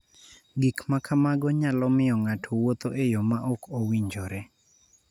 Gik ma kamago nyalo miyo ng�ato wuotho e yo ma ok owinjore.